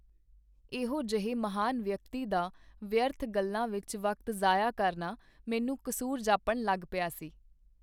ਇਹੋ ਜਿਹੇ ਮਹਾਨ ਵਿਅਕਤੀ ਦਾ ਵਿਅਰਥ ਗੱਲਾਂ ਵਿਚ ਵਕਤ ਜ਼ਾਇਆ ਕਰਨਾ ਮੈਨੂੰ ਕਸੂਰ ਜਾਪਣ ਲਗ ਪਿਆ ਸੀ.